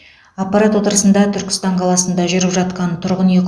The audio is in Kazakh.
аппарат отырысында түркістан қаласында жүріп жатқан тұрғын үй